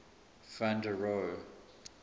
van der rohe